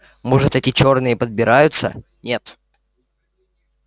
может это чёрные подбираются нет